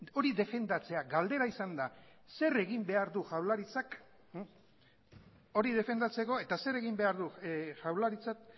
hori defendatzea galdera izan da zer egin behar du jaurlaritzak hori defendatzeko eta zer egin behar du jaurlaritzak